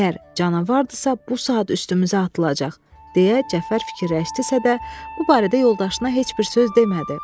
Əgər canavardırsa bu saat üstümüzə atılacaq, deyə Cəfər fikirləşdisə də, bu barədə yoldaşına heç bir söz demədi.